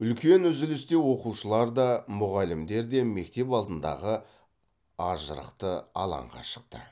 үлкен үзілісте оқушылар да мұғалімдер де мектеп алдындағы ажырықты алаңға шықты